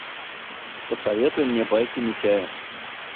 посоветуй мне байки митяя